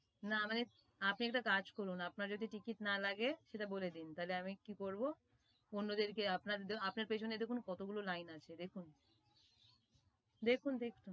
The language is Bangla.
না মানে আপনি একটা কাজ করুন আপনার যদি ticket না লাগে সেটা বলেদিন তাহলে আমি কি করবো অন্যদেরকে আপনার পেছনে কতগুলো line আছে দেখুন দেখুন দেখুন